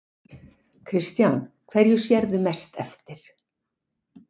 Kristján: Hverju sérðu mest eftir?